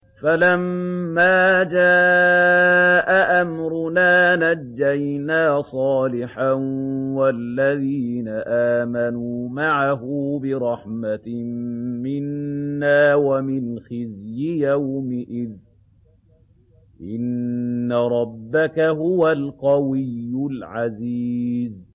فَلَمَّا جَاءَ أَمْرُنَا نَجَّيْنَا صَالِحًا وَالَّذِينَ آمَنُوا مَعَهُ بِرَحْمَةٍ مِّنَّا وَمِنْ خِزْيِ يَوْمِئِذٍ ۗ إِنَّ رَبَّكَ هُوَ الْقَوِيُّ الْعَزِيزُ